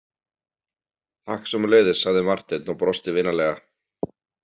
Takk sömuleiðis, sagði Marteinn og brosti vinalega.